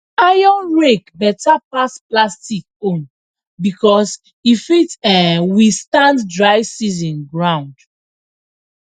iron rake beta pass plastic own becos e fit um withstand dry season ground